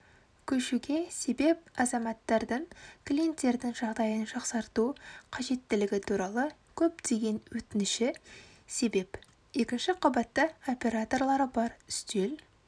көшуге себеп азаматтардың клиенттердің жағдайын жақсарту қажеттілігі туралы көптеген өтініші себеп екінші қабатта операторлары бар үстел